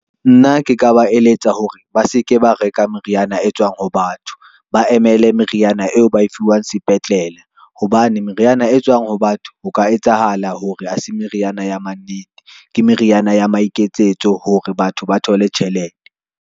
Nna ke ka ba eletsa hore ba se ke ba reka meriana e tswang ho batho, ba emele meriana eo ba e fuwang sepetlele. Hobane meriana e tswang ho batho ho ka etsahala hore ha se meriana ya mannete, ke meriana ya maikemisetso hore batho ba thole tjhelete.